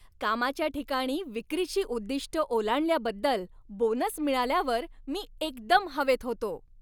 कामाच्या ठिकाणी विक्रीची उद्दिष्टं ओलांडल्याबद्दल बोनस मिळाल्यावर मी एकदम हवेत होतो.